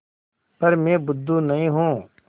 पर मैं बुद्धू नहीं हूँ